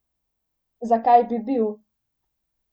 Zakaj bi bil?